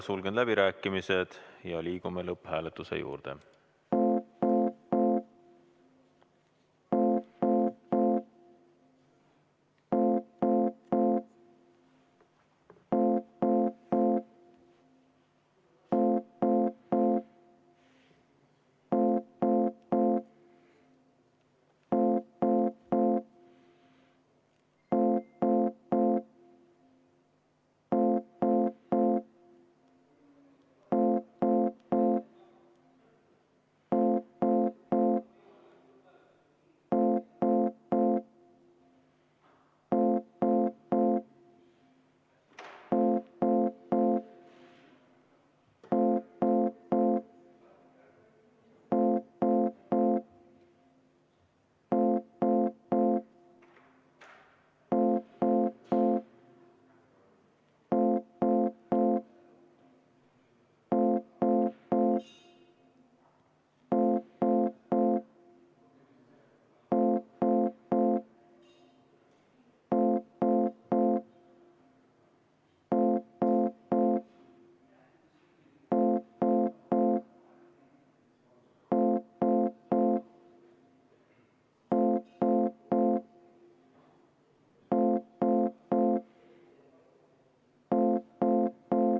Sulgen läbirääkimised ja liigume lõpphääletuse juurde.